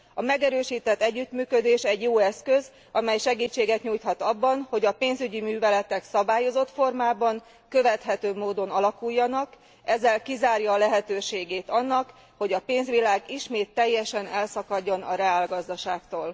A megerősített együttműködés egy jó eszköz, amely segítséget nyújthat abban, hogy a pénzügyi műveletek szabályozott formában, követhetőbb módon alakuljanak, ezzel kizárja a lehetőségét annak, hogy a pénzvilág ismét teljesen elszakadjon a reálgazdaságtól.